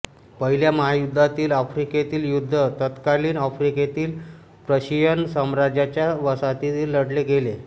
पहिल्या महायुद्धातील आफ्रिकेतील युद्ध तत्कालिन आफ्रिकेतील प्रशियन साम्राज्याच्या वसाहतीत लढले गेले़